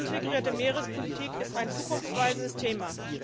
Die integrierte Meerespolitik ist ein zukunftsweisendes Thema.